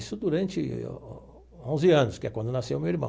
Isso durante onze anos, que é quando nasceu meu irmão.